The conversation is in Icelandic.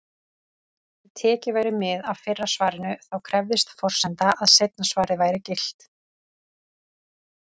Ef tekið væri mið af fyrra svarinu, þá krefðist forsendan að seinna svarið væri gilt.